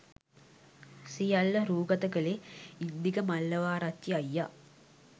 සියල්ල රූගත කළේ ඉන්දික මල්ලවාරච්චි අයියා.